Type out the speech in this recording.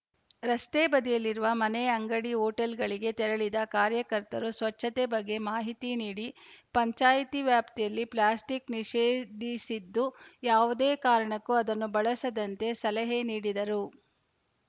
ರಸ್ತೆ ಬದಿಯಲ್ಲಿರುವ ಮನೆ ಅಂಗಡಿ ಹೋಟೆಲ್‌ಗಳಿಗೆ ತೆರಳಿದ ಕಾರ್ಯಕರ್ತರು ಸ್ವಚ್ಛತೆ ಬಗ್ಗೆ ಮಾಹಿತಿ ನೀಡಿ ಪಂಚಾಯ್ತಿ ವ್ಯಾಪ್ತಿಯಲ್ಲಿ ಪ್ಲಾಸ್ಟಿಕ್‌ ನಿಷೇಧಿ ಸಿದ್ದು ಯಾವುದೇ ಕಾರಣಕ್ಕೂ ಅದನ್ನು ಬಳಸದಂತೆ ಸಲಹೆ ನೀಡಿದರು